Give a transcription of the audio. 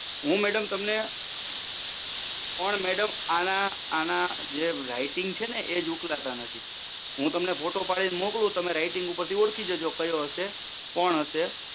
હું મેડમ તમને પણ મેડમ આના જે રાઇટ્ટિંગ છે ને એ જ ઓળખતા નથી હુ તમને ફોટો પાડી ને મોકલું તમે રાઇટ્ટિંગ ઉપર થી ઓળખી જાજો કયો હસે કોણ હસે